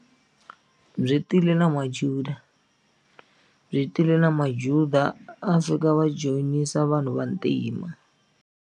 Byi tile na majuda byi tile na majuda a fika va joyinisa vanhu vantima.